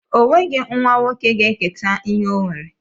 O nweghi nwa nwoke ga-eketa ihe ọ nwere